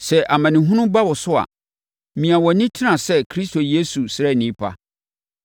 Sɛ amanehunu ba wo so a, mia wʼani tena sɛ Kristo Yesu sraani pa.